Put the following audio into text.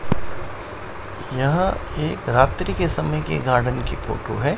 यहां एक रात्रि के समय के गार्डन की फोटो है।